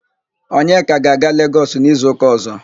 Onyeka ga-aga Legọs n'izuụka ọ̀zọ́.